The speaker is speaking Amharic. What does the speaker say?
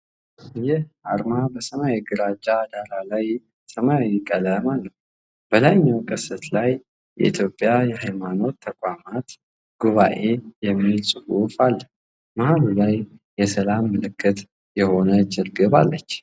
ይህ አርማ በሰማያዊ ግራጫ ዳራ ላይ ሰማያዊ ቀለም አለው። በላይኛው ቅስት ላይ "የኢትዮጵያ የሃይማኖት ተቋማት ጉባኤ" የሚል ጽሑፍ አለ። መሃሉ ላይ የሰላም ምልክት የሆነች ርግብ አለች።